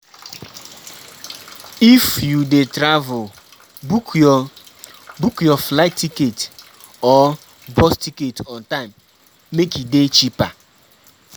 If you de travel book your book your flight ticket or bus ticket on time make e de cheaper